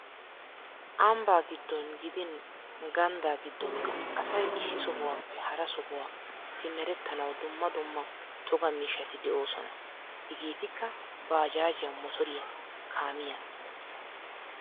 Ambbaa gidon gidin ganddaa giddonkka asay issi sohuwappe hara sohuwa simerettanawu dumma dumma toga miishshati de'oosona. Hegeetikka baajaajiya, motoriya kaamiya...